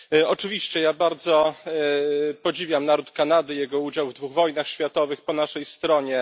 Oczywiście ja bardzo podziwiam naród Kanady i jego udział w dwóch wojnach światowych po naszej stronie.